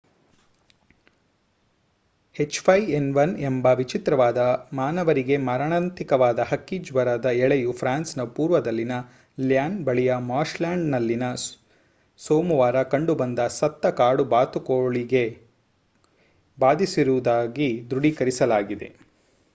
H5N1 ಎಂಬ ವಿಚಿತ್ರವಾದ ಮಾನವರಿಗೆ ಮಾರಣಾಂತಿಕವಾದ ಹಕ್ಕಿ ಜ್ವರದ ಎಳೆಯು ಫ್ರಾನ್ಸ್‌ನ ಪೂರ್ವದಲ್ಲಿನ ಲ್ಯಾನ್‌ ಬಳಿಯ ಮಾರ್ಶ್‌ಲ್ಯಾಂಡ್‌ನಲ್ಲಿನ ಸೋಮವಾರ ಕಂಡುಬಂದ ಸತ್ತ ಕಾಡು ಬಾತುಕೋಳಗೆ ಬಾಧಿಸಿರುವುದಾಗಿ ದೃಢೀಕರಿಸಲಾಗಿದೆ